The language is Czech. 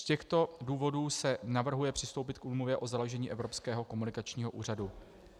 Z těchto důvodů se navrhuje přistoupit k úmluvě o založení Evropského komunikačního úřadu.